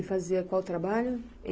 Ele fazia qual trabalho?